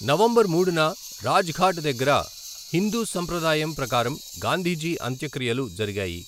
November మూడున రాజ్ఘాట్ దగ్గర హిందూ సంప్రదాయం ప్రకారం గాంధీజీ అంత్యక్రియలు జరిగాయి.